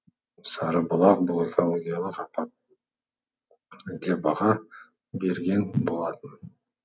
сарыбұлақ бұл экологиялық апат деп баға берген болатын